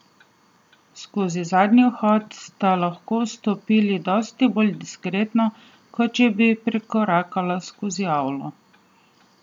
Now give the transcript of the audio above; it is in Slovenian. Skozi zadnji vhod sta lahko vstopila dosti bolj diskretno, kot če bi prikorakala skozi avlo.